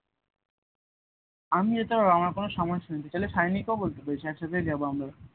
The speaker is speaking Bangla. আমি যেতে পারবো আমার কোনো সমস্যা নেই তাহলে সায়নী কে বলবি এক সাথে যাব আমরা